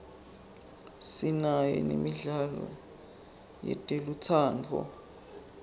sinayo nemidlalo yetelutsandvo